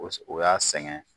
O o y'a sɛgɛn